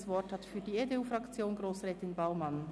Das Wort hat für die EDU-Fraktion Grossrätin Baumann.